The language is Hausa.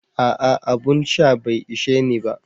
Aa, abun sha bai isheni ba.